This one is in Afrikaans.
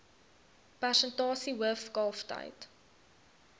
persentasie hoof kalftyd